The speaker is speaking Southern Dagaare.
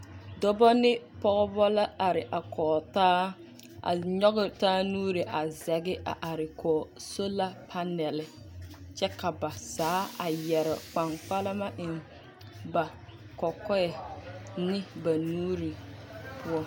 Dɔbɔ ne pɔgebɔ la a are kɔg taa. A nyɔge taa nuuri a zɛge a are kɔge sola panɛl, kyɛ ka ba zaa a yɛre kpaŋkpalama eŋ ba kɔkɔɛ ne ba nuuri poɔ.